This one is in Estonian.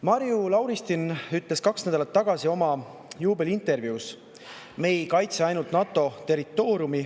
Marju Lauristin ütles kaks nädalat tagasi oma juubeliintervjuus: "Me ei kaitse ainult NATO territooriumi.